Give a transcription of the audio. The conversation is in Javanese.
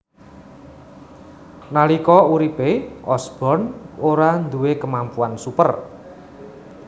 Nalika uripe Osborn ora duwé kemampuan super